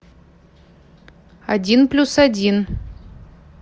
один плюс один